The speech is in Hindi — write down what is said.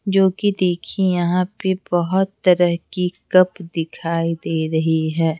जो कि देखिए यहाँ पे बहुत तरह की कप दिखाई दे रही है।